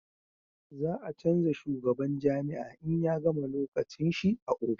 za a canja shugaban jami'a in ya gama lokacin shi a ofis